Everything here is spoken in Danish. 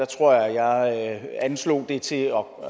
tror jeg jeg anslog det til at